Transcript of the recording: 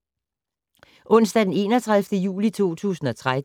Onsdag d. 31. juli 2013